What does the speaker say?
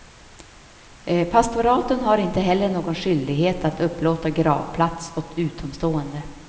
Pastoraten har inte heller någon skyldighet att upplåta gravplats åt utomstående.